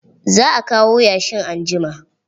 Za a kawo yashin anjima.